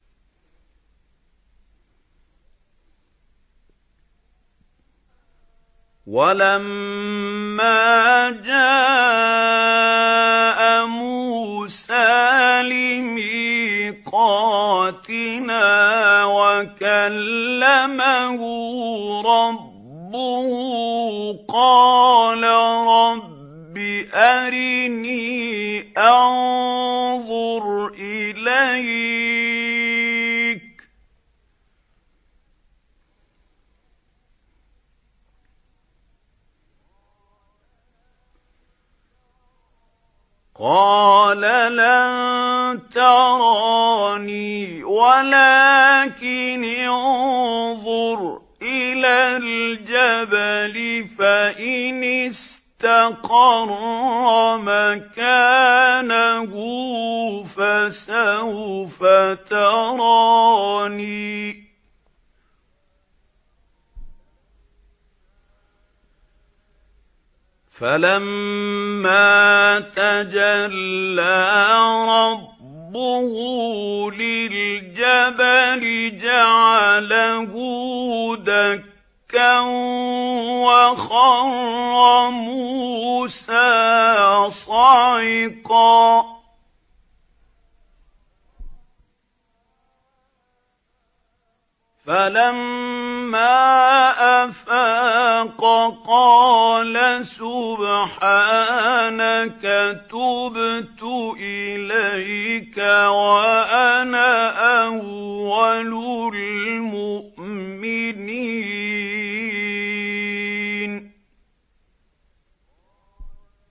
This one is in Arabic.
وَلَمَّا جَاءَ مُوسَىٰ لِمِيقَاتِنَا وَكَلَّمَهُ رَبُّهُ قَالَ رَبِّ أَرِنِي أَنظُرْ إِلَيْكَ ۚ قَالَ لَن تَرَانِي وَلَٰكِنِ انظُرْ إِلَى الْجَبَلِ فَإِنِ اسْتَقَرَّ مَكَانَهُ فَسَوْفَ تَرَانِي ۚ فَلَمَّا تَجَلَّىٰ رَبُّهُ لِلْجَبَلِ جَعَلَهُ دَكًّا وَخَرَّ مُوسَىٰ صَعِقًا ۚ فَلَمَّا أَفَاقَ قَالَ سُبْحَانَكَ تُبْتُ إِلَيْكَ وَأَنَا أَوَّلُ الْمُؤْمِنِينَ